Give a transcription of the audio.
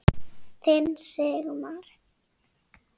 Þinn Sigmar.